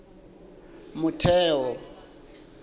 motheo